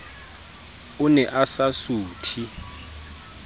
o ne a sa suthe